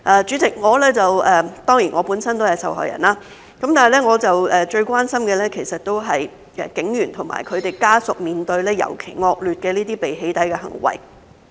主席，我本身都是受害人，但我最關心的，其實是警員和他們的家屬面對尤其惡劣的被"起底"行為。